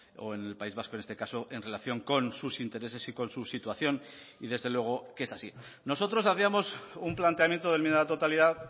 o en el país vasco en este caso en relación con sus intereses y con su situación y desde luego que es así nosotros hacíamos un planteamiento de enmienda a la totalidad